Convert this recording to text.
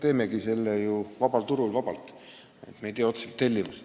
Me ju räägime vabast turust, me ei tee otseselt tellimust.